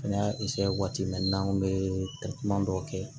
Fɛnɛ y'a waati min na n'an kun bɛ dɔw kɛ